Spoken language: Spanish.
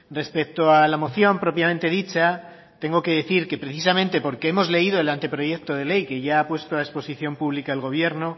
respecto a la moción propiamente dicha tengo que decir que precisamente porque hemos leído el anteproyecto de ley que ya ha puesto a exposición pública el gobierno